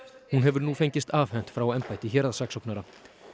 hún hefur nú fengist afhent frá embætti héraðssaksóknara